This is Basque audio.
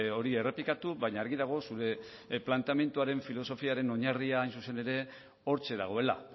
hori errepikatu baina argi dago zure planteamenduaren filosofiaren oinarria hain zuzen ere hortxe dagoela